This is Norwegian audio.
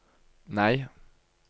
nei